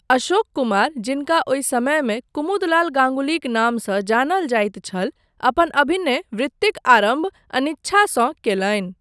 अशोक कुमार, जिनका ओहि समयमे कुमुदलाल गाङ्गुलीक नामसँ जानल जाइत छल, अपन अभिनय वृत्तिक आरम्भ अनिच्छासँ कयलनि।